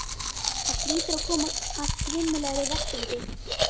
Það hlýtur að koma að grimmilegri refsingu.